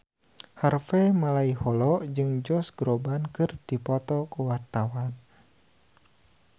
Harvey Malaiholo jeung Josh Groban keur dipoto ku wartawan